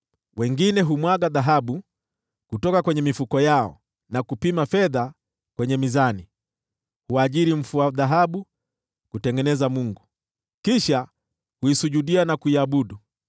Wengine humwaga dhahabu kutoka kwenye mifuko yao, na kupima fedha kwenye mizani; huajiri mfua dhahabu kutengeneza mungu, kisha huisujudia na kuiabudu.